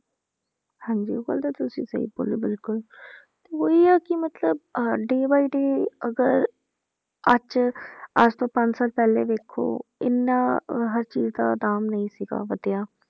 ਹਾਂਜੀ ਉਹ ਗੱਲ ਤੇ ਤੁਸੀਂ ਸਹੀ ਬੋਲੀ ਬਿਲਕੁਲ ਤੇ ਉਹੀ ਆ ਕਿ ਮਤਲਬ day by day ਅਗਰ ਅੱਜ ਅੱਜ ਤੋਂ ਪੰਜ ਸਾਲ ਪਹਿਲੇ ਦੇਖੋ ਇੰਨਾ ਹਰ ਚੀਜ਼ ਦਾ ਦਾਮ ਨਹੀਂ ਸੀਗਾ ਵਧਿਆ,